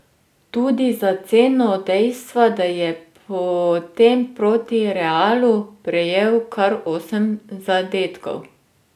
Tudi za ceno dejstva, da je potem proti Realu prejel kar osem zadetkov.